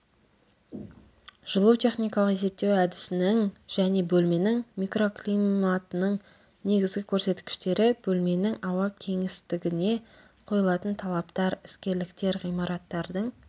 жылу техникалық есептеу әдісінің және бөлменің микроклиматының негізгі көрсеткіштері бөлменің ауа кеңістігіне қойылатын талаптар іскерліктер ғимараттардың